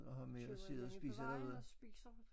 Køber et eller andet på vejen og spiser